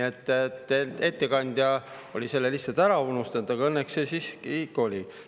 Ettekandja oli selle lihtsalt ära unustanud, aga õnneks see siiski ikka oli.